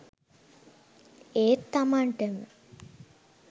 ඒත් තමන්ටම